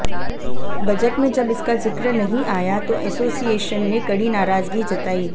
budget में जब इसका जिक्र नहीं आया तो एसोसिएशन ने कड़ी नाराजगी जताई